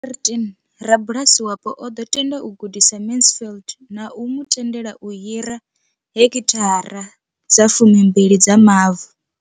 13, rabulasi wapo o ḓo tenda u gudisa Mansfield na u mu tendela u hira heki thara dza fumi mbili dza mavu.